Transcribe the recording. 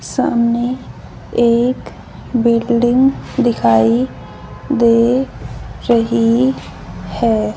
सामने एक बिल्डिंग दिखाई दे रही हैं।